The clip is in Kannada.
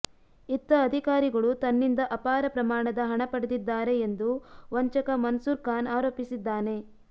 ಇತ್ತ ಅಧಿಕಾರಿಗಳು ತನ್ನಿಂದ ಅಪಾರ ಪ್ರಮಾಣದ ಹಣ ಪಡೆದಿದ್ದಾರೆ ಎಂದು ವಂಚಕ ಮನ್ಸೂರ್ ಖಾನ್ ಆರೋಪಿಸಿದ್ದಾನೆ